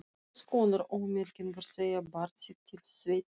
Hvers konar ómerkingar segja barn sitt til sveitar?